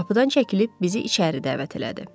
Qapıdan çəkilib bizi içəri dəvət elədi.